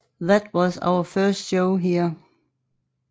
That was our first show there